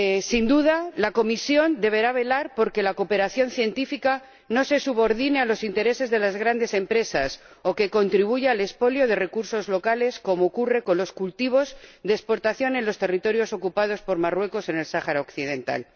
Sin duda, la Comisión deberá velar por que la cooperación científica no se subordine a los intereses de las grandes empresas o contribuya al expolio de recursos locales, como ocurre con los cultivos de exportación en los territorios ocupados por Marruecos en el Sáhara Occidental.